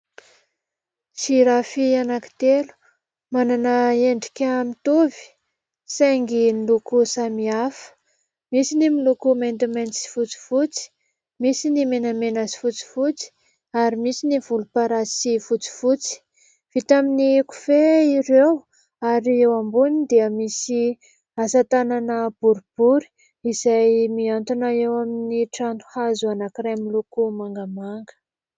Tsihy rafia anankitelo, manana endrika mitovy, saingy ny loko samihafa misy ny miloko maintimainty sy fotsifotsy misy ny menamena sy fotsifotsy ary misy ny volomparasy sy fotsifotsy. Vita amin'ny kofehy ireo ary eo ambony dia misy asa tanana boribory izay mihantona eo amin'ny trano hazo anankiray miloko mangamanga